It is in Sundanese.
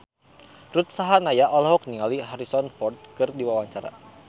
Ruth Sahanaya olohok ningali Harrison Ford keur diwawancara